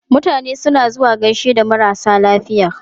Mutane suna zuwa gaishe da marasa lafiya.